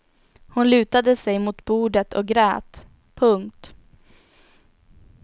Hon lutade sig mot bordet och grät. punkt